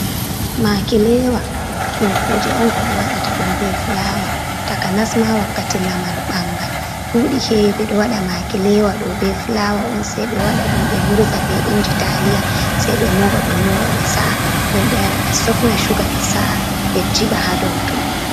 Maki lewa, ɗum kuje on ko ɓe waɗata ɗum be fulawa, takanasma wakkati lamar ɓangal, ɗuɗi hewi ɓe ɗo waɗa makilewa ɗo be fulawa on, sey ɓe waɗa ɗum ɓe murza be inji taliya sei ɓe moɓa ɓe moɓa ɓe sa’a, nden ɓe wara ɓe sofna shuga ɓe sa’a ɓe jiɓa ha dow ton.